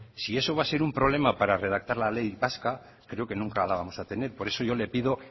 si eso va a ser un problema para redactar la ley vasca pues creo que nunca la vamos a tener por eso yo le pido